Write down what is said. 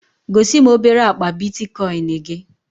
Gosi m obere akpa Bitikoin gị